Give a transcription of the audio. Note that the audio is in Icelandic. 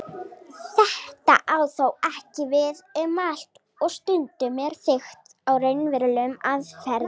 Þetta á þó ekki við um allt og stundum er byggt á raunverulegum aðferðum.